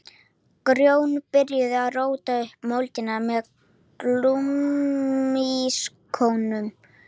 Grjóni byrjaði að róta upp mölinni með gúmmískónum.